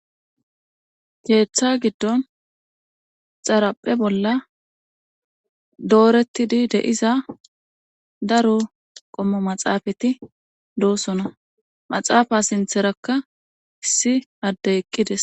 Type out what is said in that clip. Keeththa giddon xaaraphe bolla dooretidi de7iza daro qommo maxaafati doosona maxaafa sintherakka issi adde eqqides.